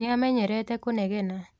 Nĩamenyerete kunegena.